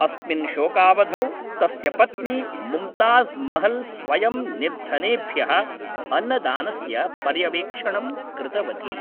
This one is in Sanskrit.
अस्मिन् शोकावधौ तस्य पत्नी मुम्ताज़् महल् स्वयं निर्धनेभ्यः अन्नदानस्य पर्यवेक्षणं कृतवती।